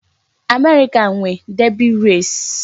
America nwe Derby race